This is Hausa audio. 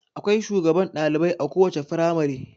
Akwai shugaban dalibai a kowace firamare.